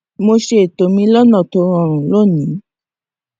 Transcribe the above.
mo ṣe ètò mi lónà tó rọrùn lónìí